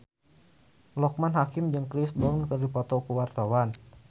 Loekman Hakim jeung Chris Brown keur dipoto ku wartawan